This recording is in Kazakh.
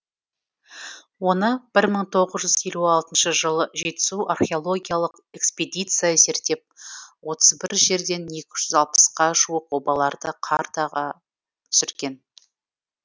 оны бір мың тоғыз жүз елу алтыншы жылы жетісу археологиялық экспедиция зерттеп отыз бір жерден екі жүз алпысқа жуық обаларды картаға түсірген